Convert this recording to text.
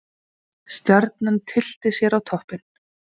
Stjarnan tyllti sér á toppinn